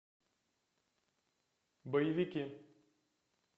боевики